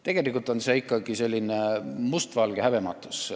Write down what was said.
Tegelikult on see ikkagi mustvalge häbematus.